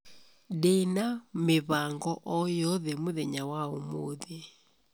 ndĩ na mĩbango o yothe mũthenya wa ũmũthĩ